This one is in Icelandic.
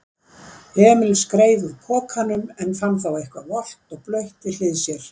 Emil skreið úr pokanum en fann þá eitthvað volgt og blautt við hlið sér.